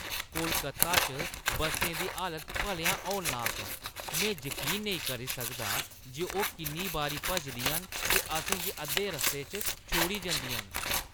कोलकाता च बस्सें दी हालत भलेआं हौलनाक ऐ! में जकीन नेईं करी सकदा जे ओह् किन्नी बारी भजदियां न ते असें गी अद्धे रस्ते च छोड़ी जंदियां न।